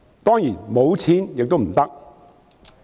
當然，沒有錢亦不行。